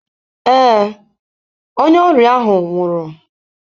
Ee, onye ọrịa ahụ nwụrụ.